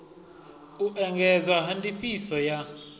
u engedzwa ha ndifhiso ya